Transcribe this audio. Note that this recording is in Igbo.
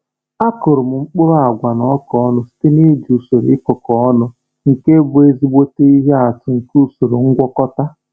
A kụrụ m mkpụrụ agwa na ọka ọnụ site n’iji usoro ịkụkọ ọnụ, nke bụ ezigbo ihe atụ nke usoro ngwakọta.